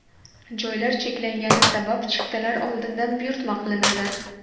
Joylar cheklangani sabab chiptalar oldindan buyurtma qilinadi.